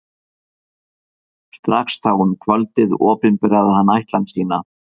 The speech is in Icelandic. Strax þá um kvöldið opinberaði hann ætlan sína.